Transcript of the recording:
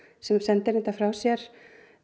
sem sendir reyndar frá sér